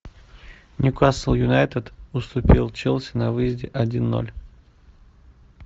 ньюкасл юнайтед уступил челси на выезде один ноль